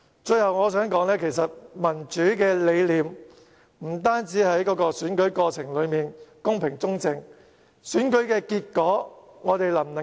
最後，我想說的是，其實民主理念不只要選舉過程公平、公正，我們能否尊重選舉結果也很重要。